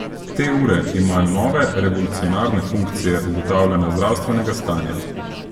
Te ure imajo nove, revolucionarne funkcije ugotavljanja zdravstvenega stanja.